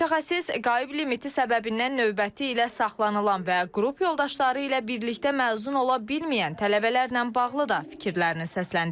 Mütəxəssis qayıb limiti səbəbindən növbəti ilə saxlanılan və qrup yoldaşları ilə birlikdə məzun ola bilməyən tələbələrlə bağlı da fikirlərini səsləndirdi.